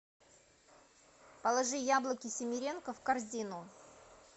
положи яблоки симиренко в корзину